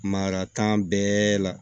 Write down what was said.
Maka kan bɛɛ la